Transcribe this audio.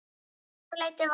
Um þetta leyti var